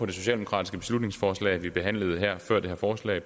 det socialdemokratiske beslutningsforslag vi behandlede her før det her forslag